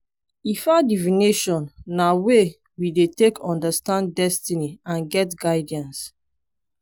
ifa divination na way we dey take understand destiny and get guidance